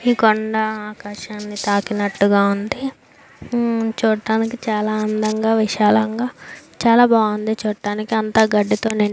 ఈ కొండా ఆకాశాన్ని తాకినట్టుగా ఉంది ఉమ్ చుడానికి చాల అందంగా విశాలంగా చాల బాగుంది చూడటానికి అంత గడ్డితో నిండి --